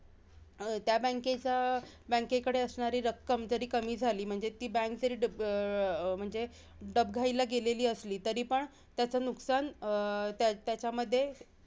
त्या bank चा अं bank कडे असणारी रक्कम जरी कमी झाली, म्हणजे ती bank जरी डब अं म्हणजे डबघाईला गेलेली, असली तरीपण त्याच नुकसान अं त्याच्यामध्ये